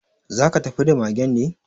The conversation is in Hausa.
Za ka tafi da magen ne?